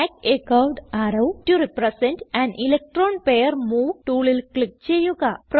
add a curved arrow to represent an electron pair move ടൂളിൽ click ചെയ്യുക